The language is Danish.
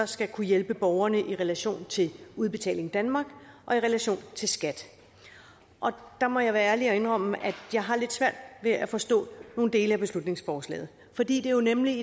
skal kunne hjælpe borgerne i relation til udbetaling danmark og i relation til skat der må jeg være ærlig og indrømme at jeg har lidt svært ved at forstå nogle dele af beslutningsforslaget fordi det nemlig